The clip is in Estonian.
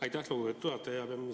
Aitäh, lugupeetud juhataja!